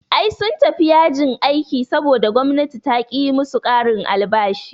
Ai sun tafi yajin aiki saboda gwamnati taƙi yi musu ƙarin albashi